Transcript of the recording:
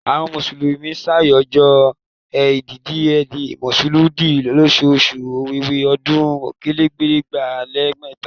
Àwọn mùsùlùmí ṣàjọyọ̀ ẹ̀yìdì-ẹẹli-Mọ̀lúùdì lóṣù Ọ̀wẹwẹ̀, ọdún okòólélẹgbàá lé mẹ́ta